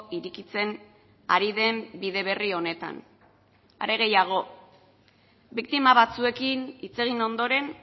irekitzen ari den bide berri honetan are gehiago biktima batzuekin hitz egin ondoren